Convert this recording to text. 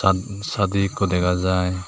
ad sadi ikko dega jai.